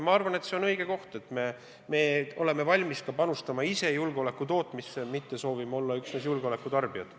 Ma arvan, et see on õige, et me oleme valmis panustama ise julgeoleku tootmisse, mitte ei soovi olla üksnes julgeoleku tarbijad.